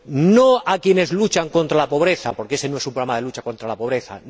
No a quienes luchan contra la pobreza, porque éste no es un programa de lucha contra la pobreza.